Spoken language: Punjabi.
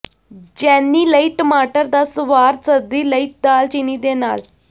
ਜੈਨੀ ਲਈ ਟਮਾਟਰ ਦਾ ਸਵਾਦ ਸਰਦੀ ਲਈ ਦਾਲਚੀਨੀ ਦੇ ਨਾਲ